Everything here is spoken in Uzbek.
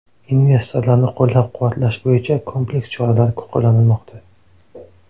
Investorlarni qo‘llab-quvvatlash bo‘yicha kompleks choralar qo‘llanilmoqda.